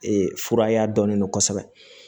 fura y'a dɔnnen don kosɛbɛ